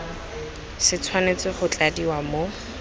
se tshwanetse go tladiwa mo